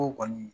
O kɔni